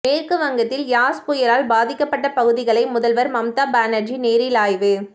மேற்கு வங்கத்தில் யாஸ் புயலால் பாதிக்கப்பட்ட பகுதிகளை முதல்வர் மம்தா பானர்ஜி நேரில் ஆய்வு